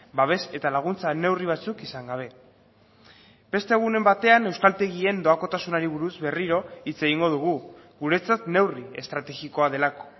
babes eta laguntza neurri batzuk izan gabe beste egunen batean euskaltegien doakotasunari buruz berriro hitz egingo dugu guretzat neurri estrategikoa delako